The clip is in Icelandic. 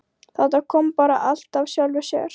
Þetta kom bara allt af sjálfu sér.